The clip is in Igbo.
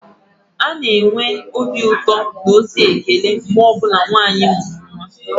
A na-enwe obi ụtọ na ozi ekele mgbe ọ bụla nwanyị amụrụ nwa